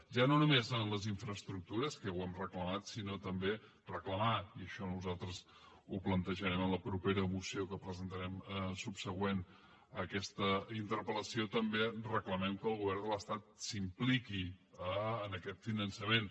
ja no només en les infraestructures que ho hem reclamat sinó que i això nosaltres ho plantejarem en la propera moció que presentarem subsegüent a aquesta interpel·lació també reclamem que el govern de l’estat s’impliqui en aquest finançament